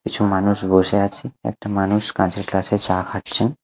কিছু মানুষ বসে আছে একটা মানুষ কাঁচের গ্লাসে চা খাচ্ছে।